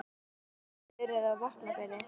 En hvernig hefur sumarið verið á Vopnafirði?